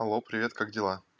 алло привет как дела